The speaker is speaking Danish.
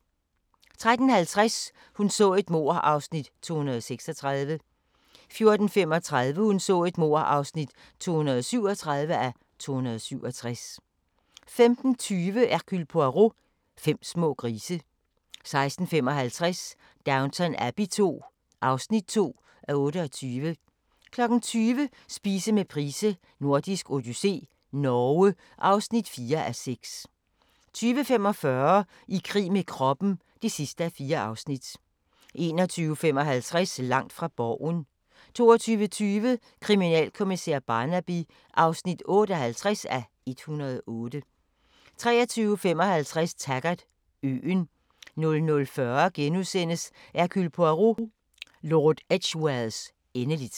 13:50: Hun så et mord (236:267) 14:35: Hun så et mord (237:267) 15:20: Hercule Poirot: Fem små grise 16:55: Downton Abbey II (2:28) 20:00: Spise med Price: Nordisk odyssé - Norge (4:6) 20:45: I krig med kroppen (4:4) 21:55: Langt fra Borgen 22:20: Kriminalkommissær Barnaby (58:108) 23:55: Taggart: Øen 00:40: Hercule Poirot: Lord Edgwares endeligt *